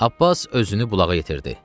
Abbas özünü bulağa yetirdi.